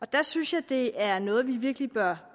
der synes jeg at det er noget vi virkelig bør